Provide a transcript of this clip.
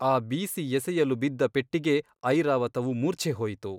ಆ ಬೀಸಿ ಎಸೆಯಲು ಬಿದ್ದ ಪೆಟ್ಟಿಗೆ ಐರಾವತವು ಮೂರ್ಛೆಹೋಯಿತು.